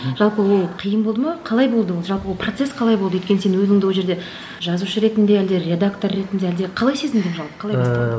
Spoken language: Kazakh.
жалпы ол қиын болды ма қалай болды ол жалпы ол процесс қалай болды өйткені сен өзіңді ол жерде жазушы ретінде әлде редактор ретінде әлде қалай сезіндің жалпы қалай басталды